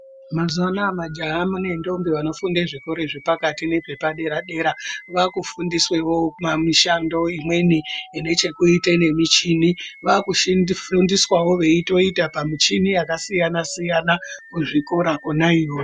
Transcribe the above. Mazuwa anaya majaha ne ndombi vanofunde zvikora zvepakati nezvepa dera dera vakufundiswewo mishando imweni inechekuite nemichini vakufundiswawo weitoita pamichini yakasiyana siyana kuzvikora kona iyoyo.